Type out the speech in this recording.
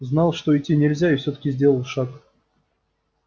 знал что идти нельзя и всё таки сделал шаг